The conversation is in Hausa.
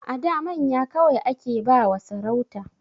A da manya kawai ake ba wa sarauta